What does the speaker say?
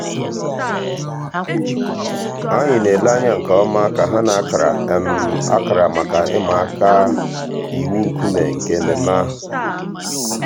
ànyị̀ nà-èlè ànyà nke ǒmà kà hà nà-àkárà um àkárà mǎká ị̀mà àkà íwụ̀ ńkùmé̀ nke emèmé́ àhụ̀.